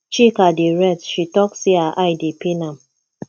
chika dey rest she talk say her eye dey pain am